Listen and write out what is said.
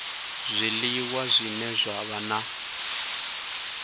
zwiliwa zwine zwa vha na